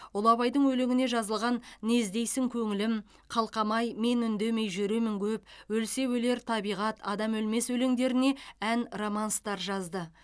ұлы абайдың өлеңіне жазылған не іздейсің көңілім қалқам ай мен үндемей жүремін көп өлсе өлер табиғат адам өлмес өлеңдеріне ән романстар жазды